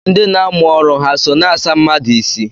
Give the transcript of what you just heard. Ndị na-amụ ọrụ ha so na-asa mmadụ isi?